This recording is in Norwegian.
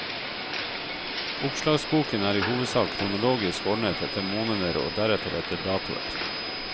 Oppslagsboken er i hovedsak kronologisk ordnet etter måneder og deretter etter datoer.